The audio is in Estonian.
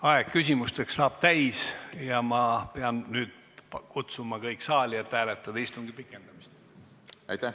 Aeg küsimuste esitamiseks saab täis ja ma pean nüüd kutsuma kõik saali, et hääletada istungi pikendamist.